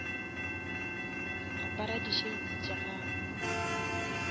apara di shades tša gago